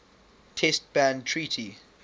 test ban treaty